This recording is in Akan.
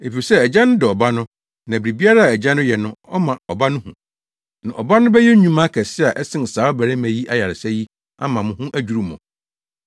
Efisɛ Agya no dɔ Ɔba no na biribiara a Agya no yɛ no ɔma Ɔba no hu. Na Ɔba no bɛyɛ nnwuma akɛse a ɛsen saa ɔbarima yi ayaresa yi ama mo ho adwiriw mo.